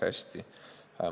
Hästi.